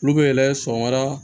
Olu bɛ yɛlɛ sɔgɔmada